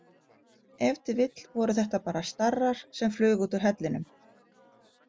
Ef til vill voru þetta bara starrar sem flugu út úr hellinum.